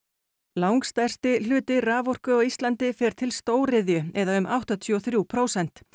langstærsti hluti raforku á Íslandi fer til stóriðju eða um áttatíu og þrjú prósent